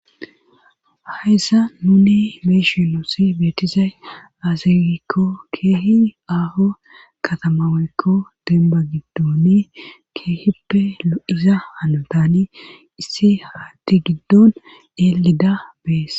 Ayssa nuni meeshi loossi beetizay azegikko keehi aafo katamawakko denba giddooni keehippe lo7iza hanotani issi haati giddon eelida bees